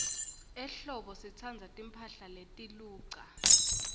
ehlobo sitsandza timphahla letiluca